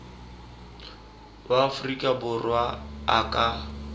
wa aforika borwa a ka